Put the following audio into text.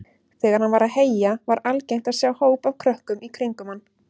Þegar hann var að heyja var algengt að sjá hóp af krökkum í kringum hann.